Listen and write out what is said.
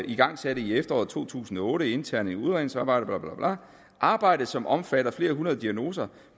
igangsatte i efterår to tusind og otte et internt udredningsarbejde … arbejdet som omfatter flere hundrede diagnoser